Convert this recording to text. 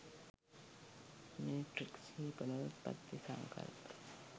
matrix හි පුනරුත්පත්ති සංකල්පය